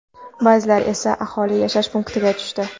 Ba’zilari esa aholi yashash punktiga tushdi.